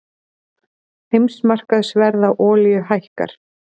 Heimsmarkaðsverð á olíu hækkar